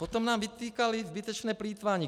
Potom nám vytýkali zbytečné plýtvání.